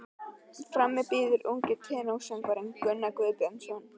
Frammi bíður ungur tenórsöngvari, Gunnar Guðbjörnsson.